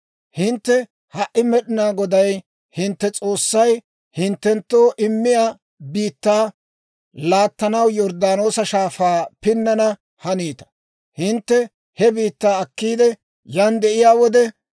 Hintte ha"i Med'inaa Goday hintte S'oossay hinttenttoo immiyaa biittaa laattanaw Yorddaanoosa Shaafaa pinnana haniita. Hintte he biittaa akkiide yan de'iyaa wode,